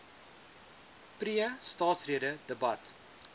pre staatsrede debat